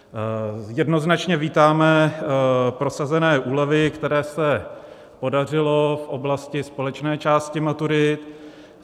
Jednoznačně vítáme prosazené úlevy, které se podařily v oblasti společné části maturit.